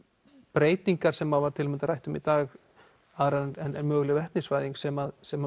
breytingar sem hafa til að mynda rætt um í dag aðrar en möguleg vetnisvæðing sem sem